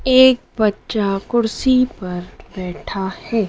एक बच्चा कुर्सी पर बैठा है।